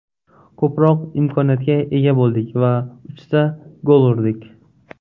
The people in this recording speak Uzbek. Ko‘proq imkoniyatga ega bo‘ldik va uchta gol urdik.